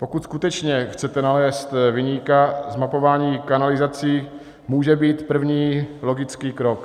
Pokud skutečně chcete nalézt viníka, zmapování kanalizací může být první logický krok.